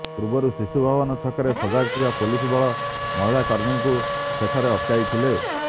ପୂର୍ବରୁ ଶିଶୁଭବନ ଛକରେ ସଜାଗ ଥିବା ପୁଲିସ ବଳ ମହିଳା କର୍ମୀଙ୍କୁ ସେଠାରେ ଅଟକାଇଥିଲା